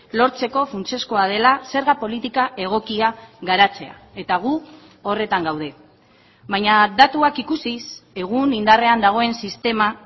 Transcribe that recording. lortzeko funtsezkoa dela zerga politika egokia garatzea eta gu horretan gaude baina datuak ikusiz egun indarrean dagoen sistema